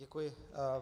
Děkuji.